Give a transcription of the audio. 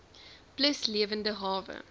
plus lewende hawe